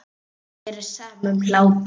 Mér er sama um hlátur.